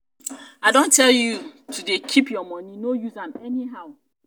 i don tell you to dey keep your money no use am anyhow.